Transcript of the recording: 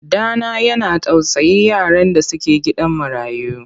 Ɗa na yana tausayin yaran da suke gidan marayu.